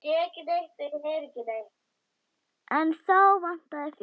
En þá vantaði fé.